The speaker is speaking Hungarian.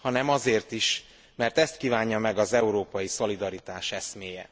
hanem azért is, mert ezt kívánja meg az európai szolidaritás eszméje.